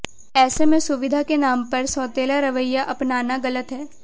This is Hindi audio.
ऐसे में सुविधा के नाम पर सोतेला रवैया अपनाना गलत है